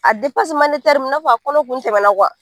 A i n'a fɔ a kɔnɔ kun tɛmɛna